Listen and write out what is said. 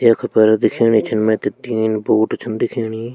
यख पर दिखेणि छन मैता तीन बोट छन दिखेणि।